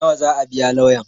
Nawa zaa biya lauyan?